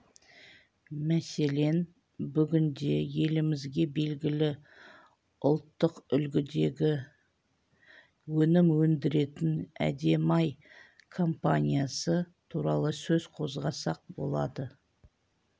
мәселен бүгінде елімізге белгілі ұлттық үлгідегі өнім өндіретін әдемі-ай компаниясы туралы сөз қозғасақ болады